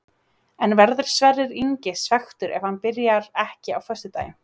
En verður Sverrir Ingi svekktur ef hann byrjar ekki á föstudaginn?